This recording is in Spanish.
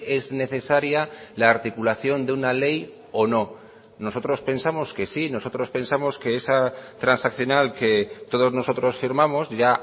es necesaria la articulación de una ley o no nosotros pensamos que sí nosotros pensamos que esa transaccional que todos nosotros firmamos ya